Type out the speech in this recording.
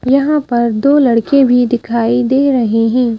यहां पर दो लड़के भी दिखाई दे रहे हैं ।